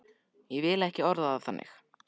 Ég vil ekki orða það þannig.